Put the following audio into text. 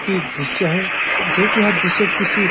की दृश्य है जो कि यह दृश्य किसी --